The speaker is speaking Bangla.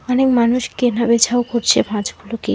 ওখানে মানুষ কেনাবেছাও করছে মাছগুলোকে।